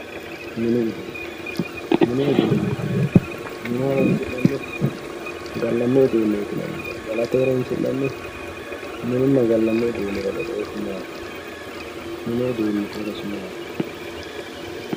mini uduune mini uduune mine horonsi'nanniho gallanni uduuneeti yinayihu galate haronsi'nanniho mininna gallanni uduunira badooshu maati mini uduuniti horosi maati.